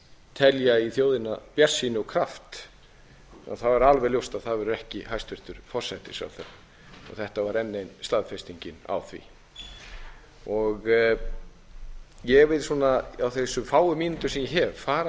telja í þjóðina bjartsýni og kraft þá er alveg ljóst að það verður ekki hæstvirtur forsætisráðherra og þetta var enn ein staðfestingin á því ég vil á þessum fáu mínútum sem ég hef fara